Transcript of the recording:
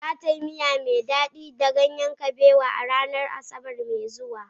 Za ta yi miya mai dadi da ganyen kabewa a ranar Asabar mai zuwa.